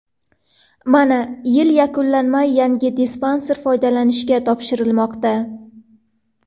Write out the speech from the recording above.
Mana, yil yakunlanmay, yangi dispanser foydalanishga topshirilmoqda.